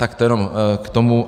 Tak to jenom k tomu.